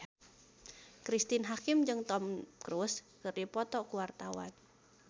Cristine Hakim jeung Tom Cruise keur dipoto ku wartawan